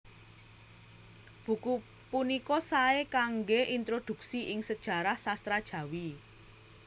Buku punika saé kanggé introdhuksi ing sajarah sastra Jawi